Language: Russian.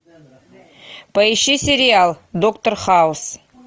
поищи сериал доктор хаус